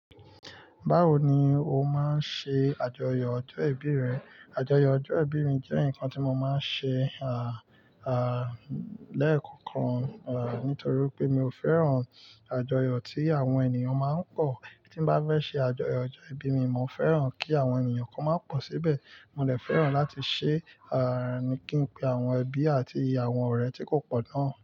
Báwo ni o máa ń ṣe àjọyọ̀ ọjọ́ ìbí rẹ? Àjọyọ̀ ọjọ́ ìbí mi jẹ́ nǹkan tí mo máa ń ṣe, lẹ́ẹ̀kọ̀kan, nítorí pé mi ò fẹ́ràn àjọyọ̀ tí àwọn ènìyàn máa ń pọ̀. Tí n bá fẹ́ ṣe àjọyọ̀ ọjọ́ ìbí mi, mo fẹ́ràn kí àwọn ènìyàn kan máa pọ̀ síbẹ̀. Mo lè fẹ́ràn láti ṣe, à, kí n pe àwọn ẹbí àti àwọn ọ̀rẹ́ tí kò pọ̀ náà.